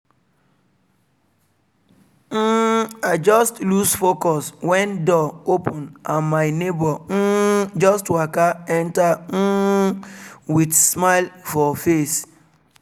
um i just loose focus when door open and my neighbor um just waka enter um with smile for face